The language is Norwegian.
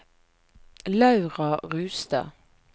Laura Rustad